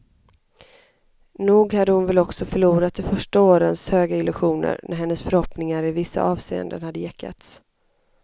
Nog hade hon väl också förlorat de första årens höga illusioner, när hennes förhoppningar i vissa avseenden hade gäckats.